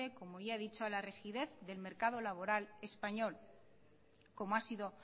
como ya he dicho a la rigidez del mercado laboral español como ha sido